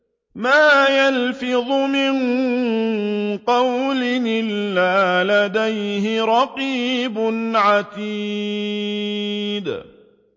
مَّا يَلْفِظُ مِن قَوْلٍ إِلَّا لَدَيْهِ رَقِيبٌ عَتِيدٌ